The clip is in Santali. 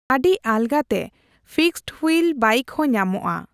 ᱟᱹᱰᱤ ᱟᱞᱜᱟᱛᱮ ᱯᱷᱤᱠᱥᱰᱼᱦᱩᱭᱤᱞ ᱵᱟᱭᱤᱠᱦᱚᱸ ᱧᱟᱢᱚᱜᱼᱟ ᱾